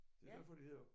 Det er derfor de hedder